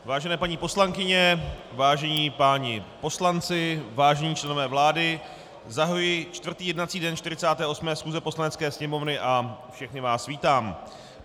Vážené paní poslankyně, vážení páni poslanci, vážení členové vlády, zahajuji čtvrtý jednací den 48. schůze Poslanecké sněmovny a všechny vás vítám.